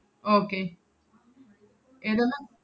okay എന്ത്ന്നാ